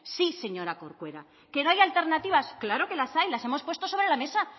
sí señora corcuera que no hay alternativas claro que las hay las hemos puesto sobre la mesa